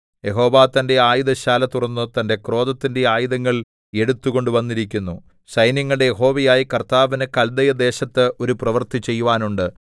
യഹോവ തന്റെ ആയുധശാല തുറന്ന് തന്റെ ക്രോധത്തിന്റെ ആയുധങ്ങൾ എടുത്തുകൊണ്ടുവന്നിരിക്കുന്നു സൈന്യങ്ങളുടെ യഹോവയായ കർത്താവിന് കല്ദയദേശത്ത് ഒരു പ്രവൃത്തി ചെയ്യുവാനുണ്ട്